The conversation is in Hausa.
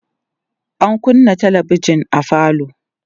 an kunnâ talabijan a falo